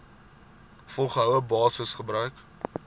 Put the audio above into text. volgehoue basis gebruik